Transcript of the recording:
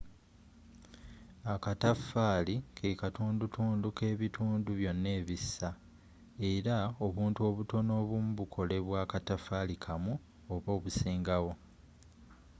akataffaali kekatundutundu k’ebintu byonna ebissa, era obuntu obutono obumu bukolebwa akataffali kamu oba obusingawo